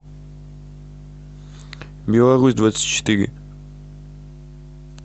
беларусь двадцать четыре